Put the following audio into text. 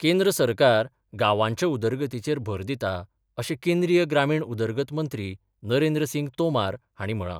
केंद्र सरकार गावांच्या उदरगतीचेर भर दिता अशें केंद्रीय ग्रामीण उदरगत मंत्री नरेंद्र सिंग तोमार हांणी म्हळां.